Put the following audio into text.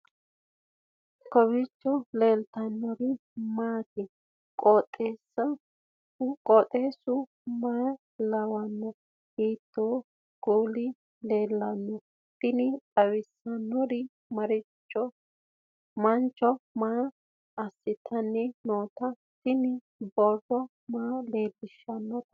kowiicho leellannori maati ? qooxeessu maa lawaanno ? hiitoo kuuli leellanno ? tini xawissannori manco maa assitani noote tini borro maa leellishannote